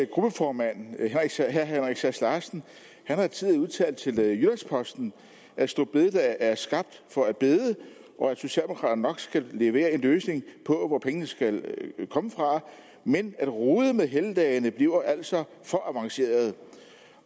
gruppeformand herre henrik sass larsen har tidligere udtalt til jyllands posten at store bededag er skabt for at bede og at socialdemokraterne nok skal levere en løsning på hvor pengene skal komme fra men at rode med helligdagene bliver altså for avanceret